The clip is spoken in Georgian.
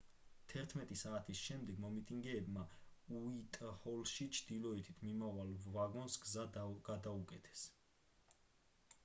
11:00 საათის შემდეგ მომიტინგეებმა უაიტჰოლში ჩრდილოეთით მიმავალ ვაგონს გზა გადაუკეტეს